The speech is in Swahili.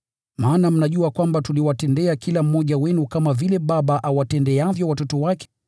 Maana mnajua kwamba tuliwatendea kila mmoja wenu kama vile baba awatendeavyo watoto wake.